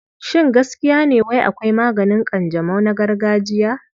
Shin gaskiya ne wai akwai maganin ƙanjamau na gargajiya?